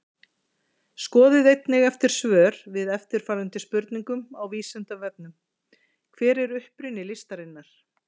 Skoðið einnig eftir svör við eftirfarandi spurningum á Vísindavefnum Hver er uppruni listarinnar?